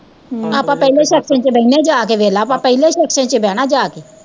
ਹਮ ਆਪਾਂ ਪਹਲੇ section ਚ ਬਹਿੰਦੇ ਆ ਜਾਕੇ ਵੇਖਲਾ ਆਪਾਂ ਪਹਿਲੇ section ਚ ਈ ਬਹਿਣਾ ਜਾਕੇ